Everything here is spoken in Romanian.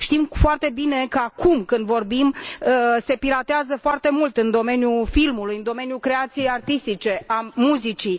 Știm foarte bine că acum, când vorbim, se piratează foarte mult în domeniul filmului, în domeniul creației artistice, al muzicii.